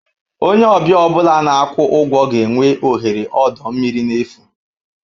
Onye ọbịa ọ bụla na-akwụ ụgwọ ga-enwe ohere ọdọ mmiri n'efu.